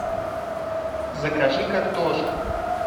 закажи картошку